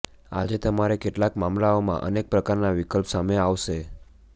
આજે તમારે કેટલાક મામલાઓમાં અનેક પ્રકારના વિકલ્પ સામે આવશે